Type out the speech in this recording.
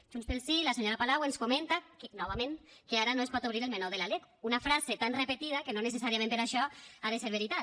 junts pel sí la senyora palau ens comenta novament que ara no es pot obrir el meló de la lec una frase tan repetida que no necessàriament per això ha de ser veritat